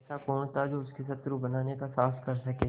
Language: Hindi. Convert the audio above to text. ऐसा कौन था जो उसको शत्रु बनाने का साहस कर सके